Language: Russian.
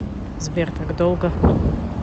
сбер так долго